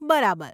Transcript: બરાબર !